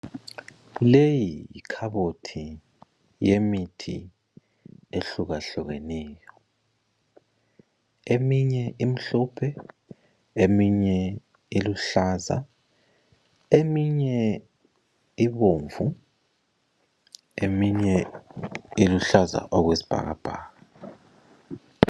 Leyi yikhabothi yemithi ehlukahlukeneyo, eminye imhlophe ,eminye iluhlaza ,eminye ibomvu , eminye iluhlaza okwesibhakabhaka.